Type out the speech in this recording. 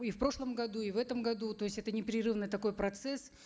и в прошлом году и в этом году то есть непрерывный такой процесс